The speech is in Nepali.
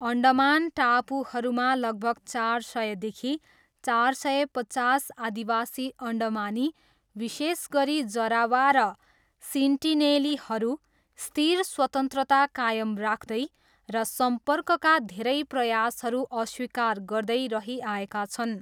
अन्डमान टापुहरूमा लगभग चार सयदेखि चार सय पचास आदिवासी अन्डमानी, विशेष गरी, जरावा र सेन्टिनेलीहरू, स्थिर स्वतन्त्रता कायम राख्दै र सम्पर्कका धेरै प्रयासहरू अस्वीकार गर्दै रहिआएका छन्।